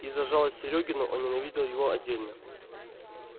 и за жалость серёгину он ненавидел его отдельно